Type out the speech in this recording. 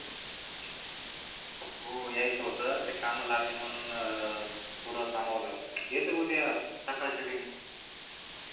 हो यायच होत ते काम लागली म्हणून अं थोड थांबाव लागल येतो उद्या सकाळी च्या